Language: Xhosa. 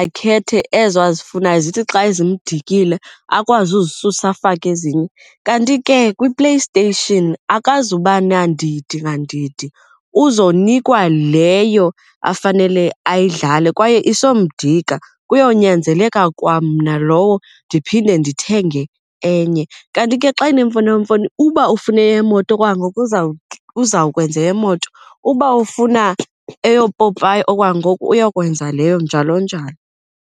akhethe ezo azifunayo zithi xa ezimdakile akwazi uzisusa afake ezinye. Kanti ke kwiPlayStation akazuba nandidi ngandidi uzonikwa leyo afanele ayidlale kwaye isomdika, kuyonyanzeleka kwamna lowo ndiphinde ndithenge enye. Kanti ke xa enemfonomfono uba ufune emoto kwangoku uzawukwenza eyemoto, uba ufuna eyoopopayi okwangoku uyokwenza leyo, njalo njalo.